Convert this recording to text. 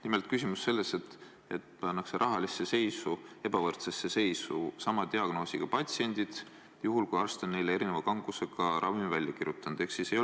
Nimelt, küsimus on selles, et pannakse rahaliselt ebavõrdsesse seisu sama diagnoosiga patsiendid, juhul kui arst on neile välja kirjutanud erineva kangusega ravimi.